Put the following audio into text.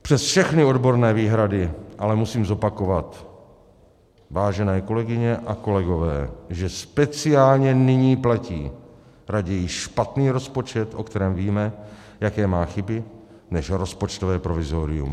Přes všechny odborné výhrady ale musím zopakovat, vážené kolegyně a kolegové, že speciálně nyní platí: raději špatný rozpočet, o kterém víme, jaké má chyby, než rozpočtové provizorium.